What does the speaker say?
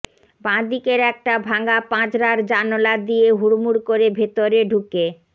বাঁদিকের একটা ভাঙা পাঁজরার জানোলা দিয়ে হুড়মুড় করে ভেতরে ঢুকে